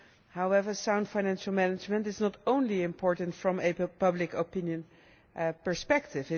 However, sound financial management is not only important from a public opinion perspective